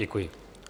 Děkuji.